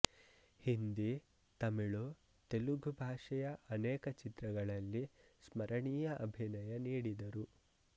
ಹಿಂದಿ ತಮಿಳು ತೆಲುಗು ಭಾಷೆಯ ಅನೇಕ ಚಿತ್ರಗಳಲ್ಲಿ ಸ್ಮರಣೀಯ ಅಭಿನಯ ನೀಡಿದರು